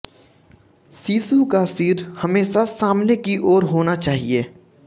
शिशु का सिर हमेशा सामने की ओर होना चाहिए